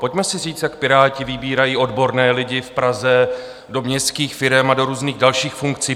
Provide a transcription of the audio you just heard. Pojďme si říct, jak Piráti vybírají odborné lidi v Praze do městských firem a do různých dalších funkcí.